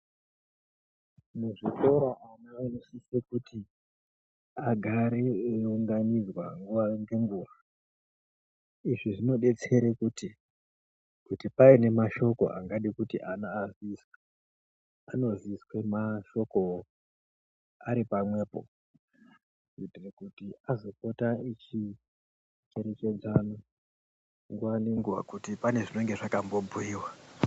Muzvikora vana vanosise kuti agare eyiunganidzwa nguwa ngenguwa, izvi zvinobetsere kuti kuti paine mashoko angada kuti ana aziswe anoziswa mashoko wo aripamwepo kuitire kuti azopota echi cherechedzana nguwa nenguwa kuti pane zvinenge zvakambo bhuyiwa.